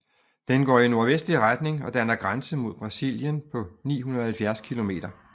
Den går i nordvestlig retning og danner grænse mod Brasilien på 970 kilometer